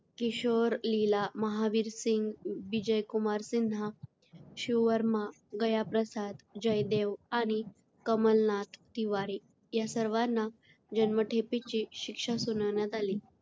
किशोर लीला, महावीर सिंग, बिजय कुमार सिन्हा, शिव वर्मा, गया प्रसाद, जय देव आणि कमलनाथ तिवारी या सर्वांना जन्मठेपेची शिक्षा सुनावण्यात आली.